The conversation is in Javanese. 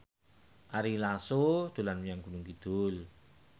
Ari Lasso dolan menyang Gunung Kidul